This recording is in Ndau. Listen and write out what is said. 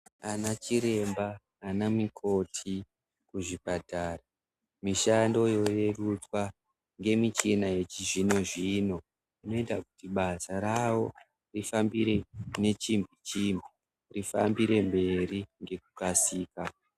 Anachiremba, anamikoti kuzvipatara, mishando yorerutswa ngemichina yechizvino-zvino inoita kuti basa ravo rifambire nechimbi-chimbi, rifambire mberi ngekukasira.